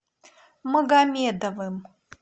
магомедовым